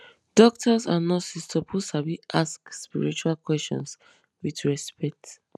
doctors and nurses suppose sabi ask spiritual questions with respect